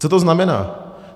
Co to znamená?